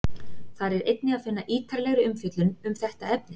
Þar er einnig að finna ítarlegri umfjöllun um þetta efni.